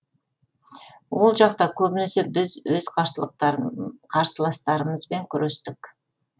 ол жақта көбінесе біз өз қарсыластарымызбен күрестік